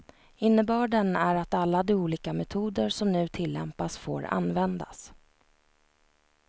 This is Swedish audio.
Innebörden är att alla de olika metoder som nu tillämpas får användas.